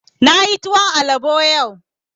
Na yi tuwon alabo yau